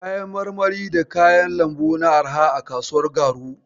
Kayan marmari da kayan lambu na arha a kasuwar garu.